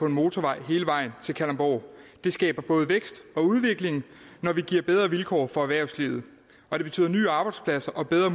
en motorvej hele vejen til kalundborg det skaber både vækst og udvikling når vi giver bedre vilkår for erhvervslivet og det betyder nye arbejdspladser og bedre